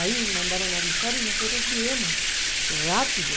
Aí mandaram avisar e nós viemos rápido.